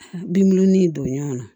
Binbulɔnin in don ɲɔgɔnna